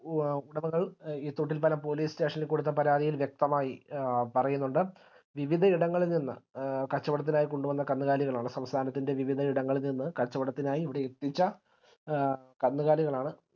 A ഈ തൊട്ടിൽപ്പാലം police station ഇൽ കൊടുത്ത പരാതിയിൽ വ്യക്തമായി പറയുന്നുണ്ട് വിവിധയിടങ്ങളിൽ നിന്ന് കച്ചവടത്തിനായി കൊണ്ടുവന്ന കന്നുകാലികളാണ് സംസ്ഥാനത്തിൻറെ വിവിധ ഇടങ്ങളിൽ നിന്ന് കച്ചവടത്തിനായി ഇവിടെയെത്തിച്ച കന്നുകാലികളാണ്